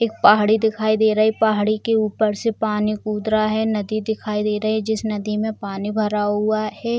एक पहाड़ी दिखाई दे रही है पहाड़ी के ऊपर से पानी कूद रहा है नदी दिखाई दे रहे है जिस नदी में पानी भरा हुआ है।